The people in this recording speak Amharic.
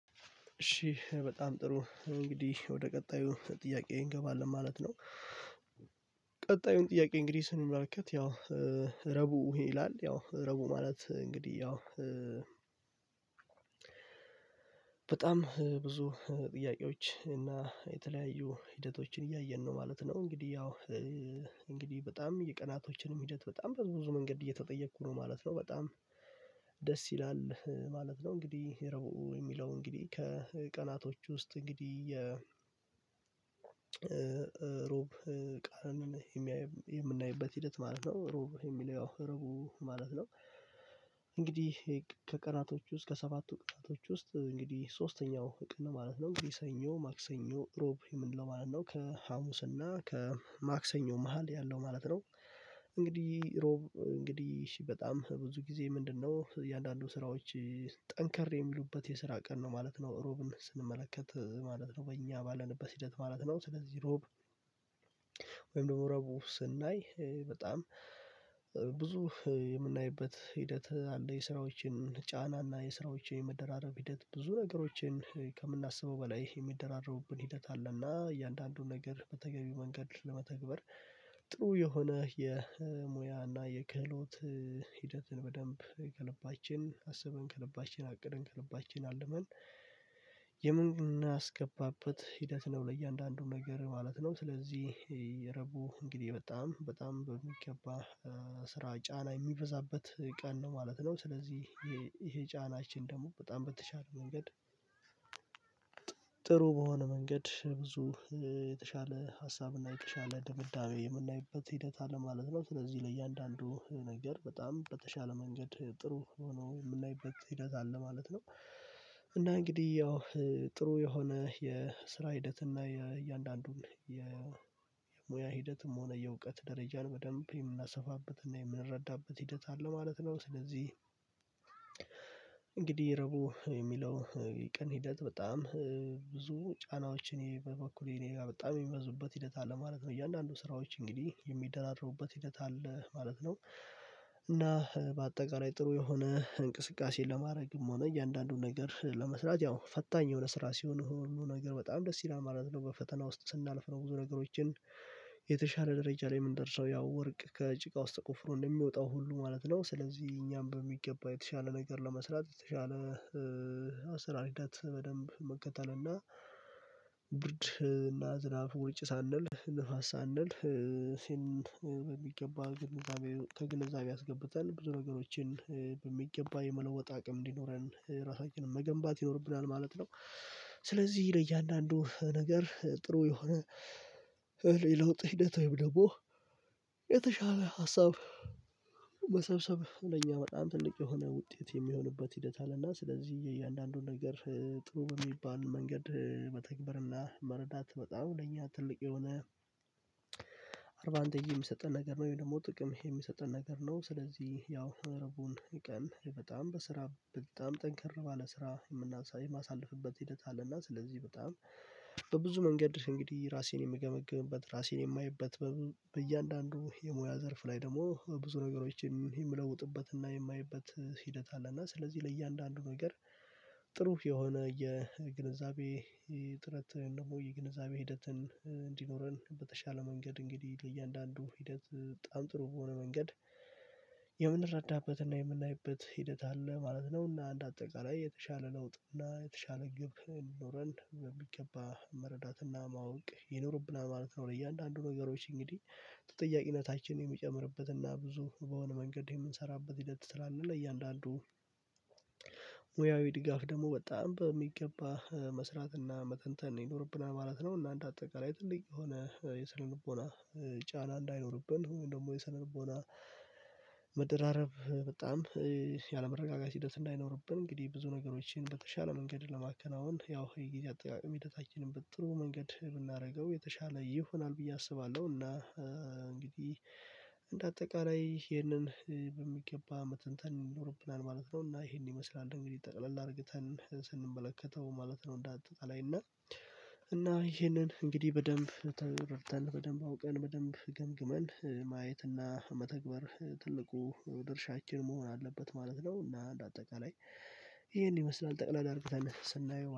እሽ በጣም ጥሩ እንግዲህ ወደ ቀጣዩ ጥያቄ እንገባለን ማለት ነው። ቀጣዩን ጥያቄ እንግዲህ ስንመለከት ያው ረዕቡ ይላል ያው ረዕቡ ማለት እንግዲህ ያው በጣም ብዙ ጥያቄዎች እና የተለያዩ ሂደቶችን እያየን ነው ማለት ነው። እንግዲህ ያው እንግዲህ በጣም የቀናቶችንም ሂደት በጣም በብዙ መንገድ እየተጠየቅኩ ነው ማለት ነው በጣም ደስ ይላል ማለት ነው። እንግዲህ ረዕቡ የሚለው እንግዲህ ከቀናቶች ውስጥ እንግዲህ የ ሮብ ቀን የሚያይ የምናይበት ሂደት ማለት ነው ረዕቡ የሚለው ረዕቡ ማለት ነው። እንግዲህ ከቀናቶቹ ውስጥ ከሰባቱ ቀናቶች ውስጥ እንግዲህ ሶስተኛው ቀን ማለት ነው። ሰኞ ማክሰኞ ረዕቡ የምንለው ማለት ነው ከሀሙስና እና ከማክሰኞ መሃል ያለው ማለት ነው። እንግዲህ ረዕቡ እንግዲህ እሺ በጣም ብዙ ጊዜ ምንድነው? እያንዳንዱ ስራዎች ጠንከር የሚሉበት የስራ ቀን ነው ማለት ነው ሮብን ስንመለከት ማለት ነው በእኛ ባለንበት ሂደት ማለት ነው። ስለዚህ ሮብ ወይም ደግሞ ረዕቡ ስናይ በጣም ብዙ የምናይበት ሂደት አለ የስራዎችን ጫና እና የስራዎችን የመደራረብ ሂደት ብዙ ነገሮችን ከምናስበው በላይ የሚደራረቡብን ሂደት አለና እያንዳንዱን ነገር በተገቢው መንገድ በመተግበር ጥሩ የሆነ የሙያ እና የክህሎት ሂደትን በደንብ ከልባችን አስበን ከልባችን አቅደን ከልባችን አልመን የምናስገባበት ሂደት ነው ለእያንዳንዱ ነገር ማለት ነው። ስለዚህ የረዕቡ እንግዲህ በጣም በሚገባ ስራ ጫና የሚበዛበት ቀን ነው ማለት ነው። ስለዚህ ይሄ ጫናችን ደግሞ በጣም በተሻለ መንገድ ጥሩ በሆነ መንገድ ብዙ የተሻለ ሀሳብና የተሻለ ድምዳቤ የምናይበት ሂደት አለ ማለት ነው። ስለዚህ ለእያንዳንዱ ነገር በጣም በተሻለ መንገድ ጥሩ ሆኖ የምናይበት ሂደት አለ ማለት ነው። እና እንግዲህ ያው ጥሩ የሆነ የስራ ሂደት እና የእያንዳንዱን የ ሙያ ሂደትም ሆነ የእውቀት ደረጃን በደንብ የምናሰፋበትና የምንረዳበት ሂደት አለ ማለት ነው። ስለዚህ እንግዲህ ረዕቡ የሚለው የቀን ሂደት በጣም ብዙ ጫናዎችን እኔ በበኩሌ እኔጋ በጣም የሚበዙበት ሂደት አለ ማለት ነው። እያንዳንዱ ስራዎች እንግዲህ የሚደራደሩበት ሂደት አለ ማለት ነው። እና በአጠቃላይ ጥሩ የሆነ እንቅስቃሴ ለማድረግም ሆነ እያንዳንዱን ነገር ለመስራት ያው ፈታኝ የሆነ ስራ ሲሆን ሁሉ ነገር በጣም ደስ ይላል ማለት ነው። በፈተና ውስጥ ስናልፍ ነው ብዙ ነገሮችን የተሻለ ደረጃ ላይ የምንደርሰው ያው ወርቅ ከጭቃ ውስጥ ተቆፍሮ እንደሚወጣው ሁሉ ማለት ነው። ስለዚህ እኛም በሚገባ የተሻለ ነገር ለመስራት የተሻለ አሰራር ሂደት በደንብ መከተል እና ብርድ እና ዝናብ ውርጭ ሳንል ንፋስ ሳንል ይህን በሚገባ ግንዛቤ ከግንዛቤ አስገብተን ብዙ ነገሮችን በሚገባ የመለወጥ አቅም እንዲኖረን ራሳችንን መገንባት ይኖርብናል ማለት ነው። ስለዚህ ለእያንዳንዱ ነገር ጥሩ የሆነ ለውጥ ሂደት ወይም ደግሞ የተሻለ ሀሳብ መሰብሰብ ለነኛ በጣም ትልቅ የሆነ ውጤት የሚሆንበት ሂደት አለና። ስለዚህ የእያንዳንዱ ነገር ጥሩ በሚባል መንገድ መተግባርና መረዳት በጣም ለእኛ ትልቅ የሆነ አድቫንቴጅ የሚሰጠን ነገር ነው ወይ ደግሞ ጥቅም የሚሰጠን ነገር ነው። ስለዚህ ያው ረዕቡን ቀን በጣም በስራ በጣም ጠንክር ባለ ስራ የምናሳል የማስልፍበት ሂደት አለና። ስለዚህ በጣም በብዙ መንገድ እንግዲህ ራሴን የምገመግምበት ራሴን የማየበት በእያንዳንዱ የሙያ ዘርፍ ላይ ደግሞ ብዙ ነገሮችን የምለውጥበትና የማየበት ሂደት አለና። ስለዚህ ለእያንዳንዱ ነገር ጥሩ የሆነ የግንዛቤ ጥረት ወይም ደግሞ የግንዛቤ ሂደትን እንዲኖረን በተሻለ መንገድ እንግዲህ ለእያንዳንዱ ሂደት በጣም ጥሩ በሆነ መንገድ የምንረዳበትና የምናይበት ሂደት አለ ማለት ነው። እና እንደ አጠቃላይ የተሻለ ለውጥ እና የተሻለ ግብ እንዲኖረን በሚገባ መረዳትና ማወቅ ይኖርብናል ማለት ነው። ለእያንዳንዱ ነገሮች እንግዲህ ተጠያቂነታችን የሚጨምርበትና ብዙ በሆነ መንገድ የምንሰራበት ሂደት ስላለ ለእያንዳንዱ ሙያዊ ድጋፍ ደግሞ በጣም በሚገባ መስራትና መተንተን ይኖርብናል ማለት ነው። እና እንደ አጠቃላይ ትልቅ የሆነ የሰነልቦና ጫና እንዳይኖርብን ወይም ደግሞ የሰነልቦና መደራረብ በጣም ያለመረጋጋት ሂደት እንዳይኖርብን እንግዲህ ብዙ ነገሮችን በተሻለ መንገድ ለማከናወን ያው የጊዜ አጠቃቀም ሂደታችንን በጥሩ መንገድ ብናደርገው የተሻለ ይሆናል ብዬ አስባለሁ። እና እንግዲህ እንደ አጠቃላይ ይሄንን በሚገባ መተንተን ይኖርብናል ማለት ነው። እና ይሄንን ይመስላል እንግዲህ ጠቅለል አርግተን ስንመለከተው ማለት ነው። እንዳትጠቃላይ እና እና ይሄንን እንግዲህ በደንብ ተረድተን በደንብ አውቀን በደንብ ገምግመን ማየትና መተግበር ትልቁ ድርሻችን መሆን አለበት ማለት ነው። እና እንደ አጠቃላይ ይሄን ይመስላል ጠቅለል አርግተን ስናየው